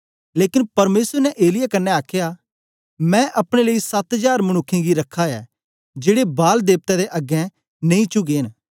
लेकन परमेसर ने एलिय्याह कन्ने आखया मैं अपने लेई सत जार मनुक्खें गी रखा ऐ जेड़े बाल देबतै दे अगें नेई झुके न